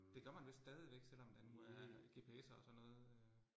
Det gør man vist stadigvæk selvom der nu er GPS'er og sådan noget øh